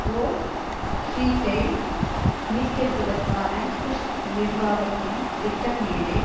whole ஸ்ட்ரீட்டை மீட்டெடுப்பதற்கான Bush நிர்வாகத்தின் திட்டம் மீது